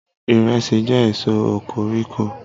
iresi je èso okoriko